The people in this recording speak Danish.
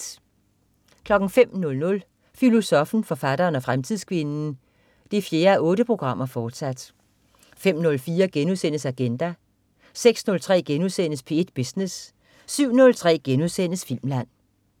05.00 Filosoffen, forfatteren og fremtidskvinden 4:8, fortsat 05.04 Agenda* 06.03 P1 Business* 07.03 Filmland*